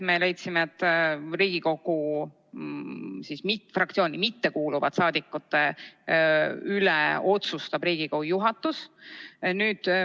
Me leidsime, et Riigikogu fraktsiooni mittekuuluvate saadikute üle otsustab Riigikogu juhatus.